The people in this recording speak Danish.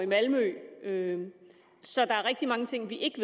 malmø så der er rigtig mange ting vi ikke